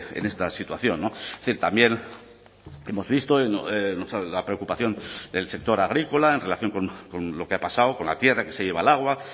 en esta situación también hemos visto la preocupación del sector agrícola en relación con lo que ha pasado con la tierra que se lleva el agua